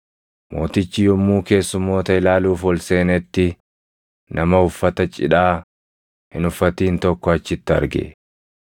“Mootichi yommuu keessummoota ilaaluuf ol seenetti, nama uffata cidhaa hin uffatin tokko achitti arge.